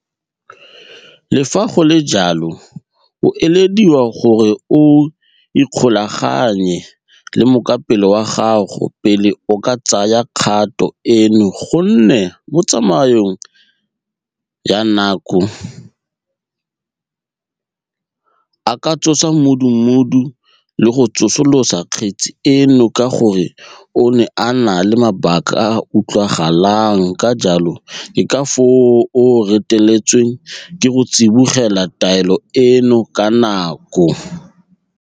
Le fa go le jalo, o elediwa gore o ikgolaganye le mokapelo wa gago pele o ka tsaya kgato eno gonne mo tsamaong ya nako a ka tsosa mmudubudu le go tsosolosa kgetse eno ka gore o ne a na le mabaka a a utlwagalang ka jalo ke ka foo a reteletsweng ke go tsibogela taelo eno ka nako.